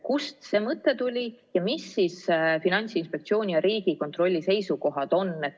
Kust see mõte tuli ja millised on Finantsinspektsiooni ja Riigikontrolli seisukohad?